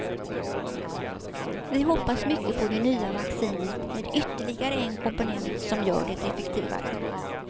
Vi hoppas mycket på det nya vaccinet med ytterligare en komponent som gör det effektivare.